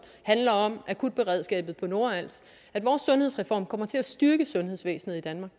handler om akutberedskabet på nordals at vores sundhedsreform kommer til at styrke sundhedsvæsenet i danmark